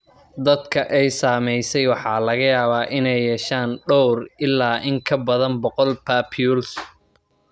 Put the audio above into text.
Dadka ay saameysay waxaa laga yaabaa inay yeeshaan dhowr ilaa in ka badan boqol papules.